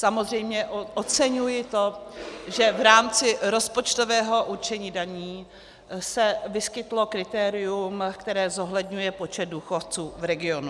Samozřejmě oceňuji to, že v rámci rozpočtového určení daní se vyskytlo kritérium, které zohledňuje počet důchodců v regionu.